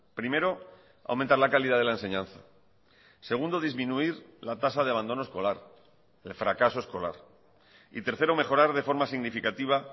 primero aumentar la calidad de la enseñanza segundo disminuir la tasa de abandono escolar el fracaso escolar y tercero mejorar de forma significativa